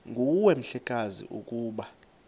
nguwe mhlekazi ukuba